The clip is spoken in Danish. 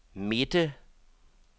midte